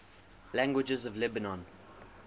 languages of lebanon